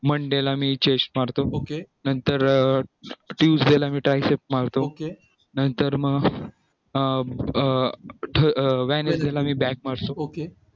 monday मी chest मारतो नंतर tuesday ला मी tricep मारतो नंतर मग अं wednesday मी अं back मारतो